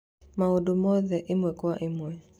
Maũndũ mothe ĩmwe kwa ĩmwe